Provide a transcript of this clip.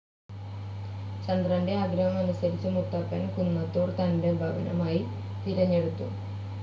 ചന്ദ്രൻ്റെ ആഗ്രഹം അനുസരിച്ച് മുത്തപ്പൻ കുന്നത്തൂർ തൻ്റെ ഭവനമായി തിരഞ്ഞെടുത്തു.